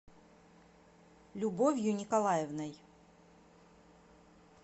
любовью николаевной